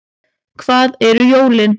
Hvað eru jólin